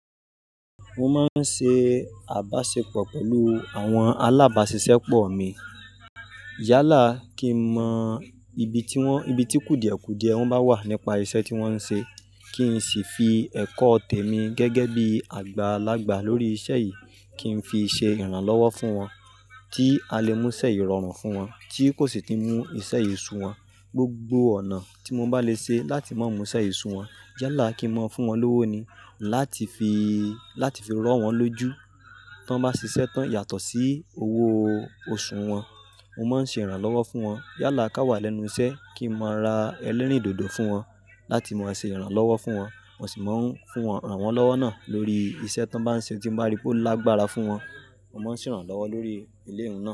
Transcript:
Mo máa ń ṣe àbáṣepọ̀ pẹ̀lú àwọn alábáṣiṣẹ́ pọ̀ mi. Yálà kí n mọ ibi tí wọ́n, ibi tí kùdìẹ̀kùdìẹ wọ́n bá wà nípa iṣẹ́ tí wọ́n ń ṣe. Kí n sì fi ẹ̀kọ́ tèmi gẹ́gẹ́ bí àgbàlagbà lórí iṣẹ́ yìí, kí n fi ṣe ìrànlọ́wọ́ fún wọn. Tí a lè mú iṣẹ́ yìí rọrùn fún wọn, tí kò sì tí mú iṣẹ́ yìí sun wọ́n, gbogbo ọ̀nà tí mo bá lè ṣe láti mon mú iṣẹ́ yìí sun wọ́n. Yálà kí n mọ fún wọn lówó ni. Láti fi, láti fi rọ́ wọn lójú. Tí wọ́n bá ṣiṣẹ́ tán yàtọ̀ sí owó oṣù wọn, mo máa ń ṣe ìrànlọ́wọ́ fún wọn. Yálà ká wà lẹ́nu iṣẹ́ kí n má ra elérìndòdò fún wọn, láti má ṣe ìrànlọ́wọ́ fún wọn. Mo sì máa ń fún wọn rànwanlọ́wọ́ náà lórí iṣẹ́ tí wọ́n bá ń ṣe tí mo bá rí pé ó lágbára fún wọn. Mo máa ń ṣe ìrànlọ́wọ́ lórí ilé wọn náà.